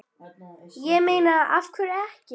Ég meina af hverju ekki?